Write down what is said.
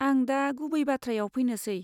आं दा गुबै बाथ्रायाव फैनोसै।